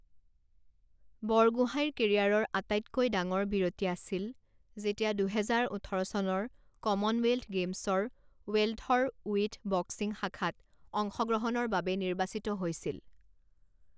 বৰগোহাঁইৰ কেৰিয়াৰৰ আটাইতকৈ ডাঙৰ বিৰতি আছিল যেতিয়া দুহেজাৰ ওঠৰ চনৰ কমনৱেলথ গেমছৰ ৱেলথৰ ওৱিথ বক্সিং শাখাত অংশগ্ৰহণৰ বাবে নিৰ্বাচিত হৈছিল।